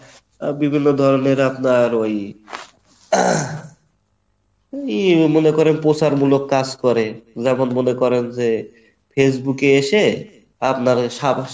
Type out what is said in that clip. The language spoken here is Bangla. আহ বিভিন্ন ধরণের আপনার ওই এই মনে করেন প্রচারমূলক কাজ করে যখন মনে করেন যে Facebook এ এসে আপনার ওই